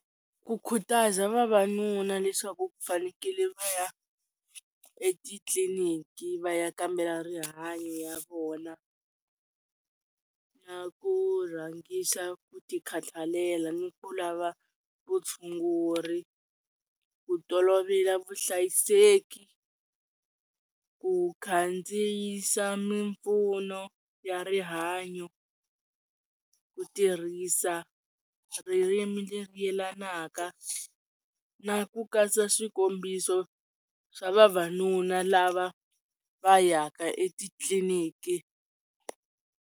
Ku khutaza vavanuna leswaku ku fanekele va ya etitliliniki va ya kambela rihanyo ya vona na ku rhangisa ku ti khathalela ni ku lava vutshunguri ku tolovela vuhlayiseki ku khandziyisa mimpfuno ya rihanyo ku tirhisa ririmi leri yelanaka na ku katsa swikombiso swa vavanuna lava va ya ka etitliniki.